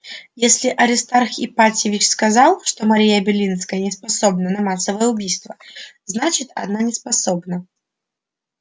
если аристарх ипатьевич сказал что мария белинская не способна на массовое убийство значит она неспособна